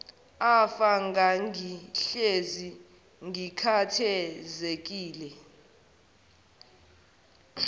afa ngangihlezi ngikhathazekile